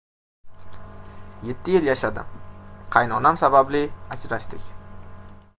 Yetti yil yashadim, qaynonam sababli ajrashdik.